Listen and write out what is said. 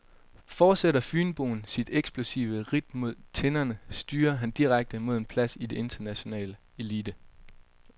Fortsætter fynboen sit eksplosive ridt mod tinderne, styrer han direkte mod en plads i den internationale elite.